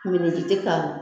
Miniji tɛ ka